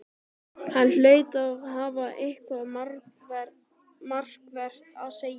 Hann hlaut að hafa eitthvað markvert að segja.